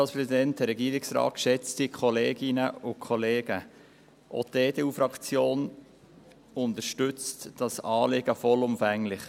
Auch die EDU-Fraktion unterstützt dieses Anliegen vollumfänglich.